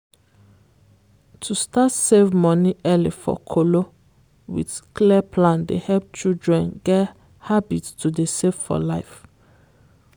to start save money early for kolo with clear plan dey help children get habit to dey save for life.